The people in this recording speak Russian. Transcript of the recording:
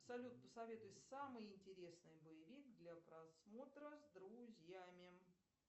салют посоветуй самый интересный боевик для просмотра с друзьями